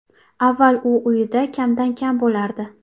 Avval u uyida kamdan kam bo‘lardi.